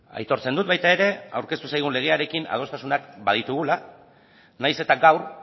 aitortzen dut baita ere aurkeztu zaigun legearekin adostasunak baditugula nahiz eta gaur